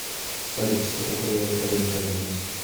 салют что такое рентабельность